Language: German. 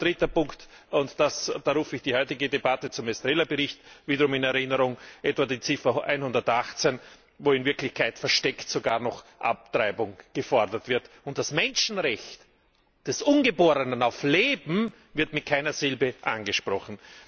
Als dritten Punkt rufe ich die heutige Debatte zum Estrela Bericht wieder in Erinnerung, etwa Ziffer 118, wo in Wirklichkeit versteckt sogar noch Abtreibung gefordert wird, und das Menschenrecht des Ungeborenen auf Leben wird mit keiner Silbe angesprochen.